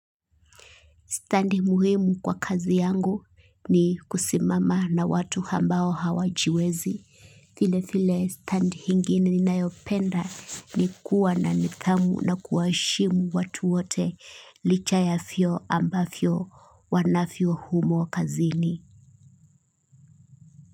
Standi muhimu kwa kazi yangu ni kusimama na watu hambao hawajiwezi. Vile vile standi hingine ninayopenda ni kuwa na nithamu na kuwaheshimu watu wote licha ya vyeo ambavyo wanavyo humo kazini.